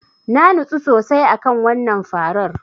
Na nutsu sosai a kan wannan Farar.